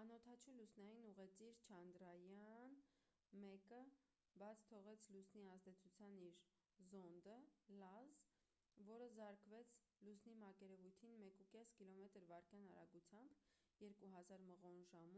անօդաչու լուսնային ուղեծիր չանդրայաան 1-ը բաց թողեց լուսնի ազդեցության իր զոնդը լազ որը զարկվեց լուսնի մակերևույթին 1,5 կմ/վ արագությամբ 3000 մղոն/ժամ